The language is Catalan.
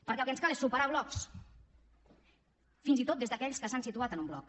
perquè el que ens cal és superar blocs fins i tot des d’aquells que s’han situat en un bloc